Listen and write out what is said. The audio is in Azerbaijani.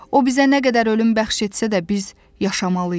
O bizə nə qədər ölüm bəxş etsə də biz yaşamalıyıq.